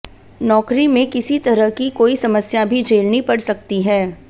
नौकरी में किसी तरह की कोई समस्या भी झेलनी पड़ सकती है